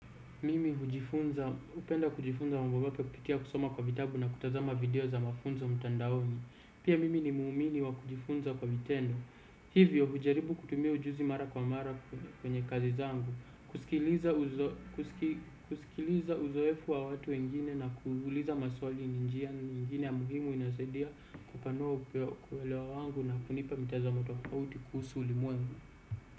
Mimi hujifunza, upenda kujifunza mambo mapia kupitia kusoma kwa vitabu na kutazama video za mafunzo mtandaoni. Pia mimi ni muumini wa kujifunza kwa vitendo. Hivyo, hujaribu kutumia ujuzi mara kwa mara kwenye kazi zangu. Kuskiliza uzo kuskiliza uzoefu wa watu wengine na kuuliza maswali ni njia nyingine ya muhimu inayosaidia kupanua upia kuelewa wangu na kunipa mitazamo tofauti kuhusu ulimwengu.